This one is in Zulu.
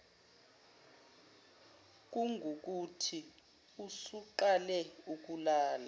kungukuthi usuqale ukulala